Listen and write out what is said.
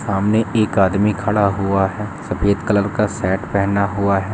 सामने एक आदमी खड़ा हुआ है सफ़ेद कलर का शर्ट पहना हुआ है।